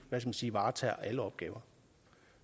man sige varetager alle opgaver